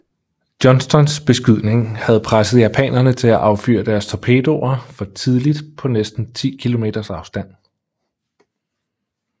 Johnstons beskydning havde presset japanerne til at affyre deres torpedoer for tidligt på næsten 10 km afstand